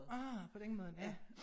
Ah på den måde ja